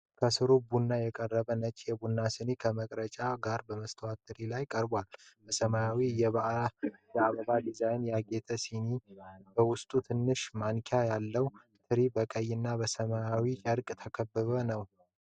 ከስሩ ቡና የቀረበት ነጭ የቡና ሲኒ ከመቅረጫው ጋር በመስተዋት ትሪ ላይ ተቀምጧል። በሰማያዊ የአበባ ዲዛይን ያጌጠ ሲኒ በውስጡ ትንሽ ማንኪያ አለው። ትሪው በቀይና በሰማያዊ ጨርቅ የተከበበ ነው።